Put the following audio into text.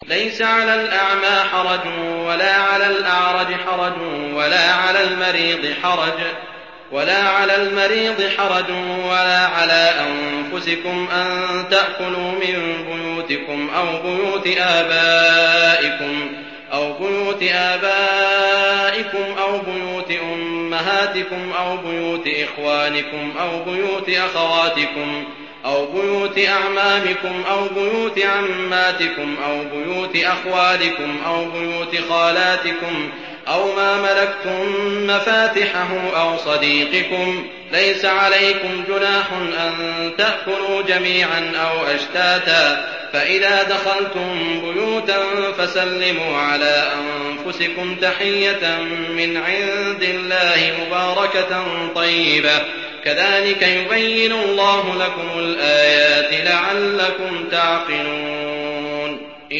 لَّيْسَ عَلَى الْأَعْمَىٰ حَرَجٌ وَلَا عَلَى الْأَعْرَجِ حَرَجٌ وَلَا عَلَى الْمَرِيضِ حَرَجٌ وَلَا عَلَىٰ أَنفُسِكُمْ أَن تَأْكُلُوا مِن بُيُوتِكُمْ أَوْ بُيُوتِ آبَائِكُمْ أَوْ بُيُوتِ أُمَّهَاتِكُمْ أَوْ بُيُوتِ إِخْوَانِكُمْ أَوْ بُيُوتِ أَخَوَاتِكُمْ أَوْ بُيُوتِ أَعْمَامِكُمْ أَوْ بُيُوتِ عَمَّاتِكُمْ أَوْ بُيُوتِ أَخْوَالِكُمْ أَوْ بُيُوتِ خَالَاتِكُمْ أَوْ مَا مَلَكْتُم مَّفَاتِحَهُ أَوْ صَدِيقِكُمْ ۚ لَيْسَ عَلَيْكُمْ جُنَاحٌ أَن تَأْكُلُوا جَمِيعًا أَوْ أَشْتَاتًا ۚ فَإِذَا دَخَلْتُم بُيُوتًا فَسَلِّمُوا عَلَىٰ أَنفُسِكُمْ تَحِيَّةً مِّنْ عِندِ اللَّهِ مُبَارَكَةً طَيِّبَةً ۚ كَذَٰلِكَ يُبَيِّنُ اللَّهُ لَكُمُ الْآيَاتِ لَعَلَّكُمْ تَعْقِلُونَ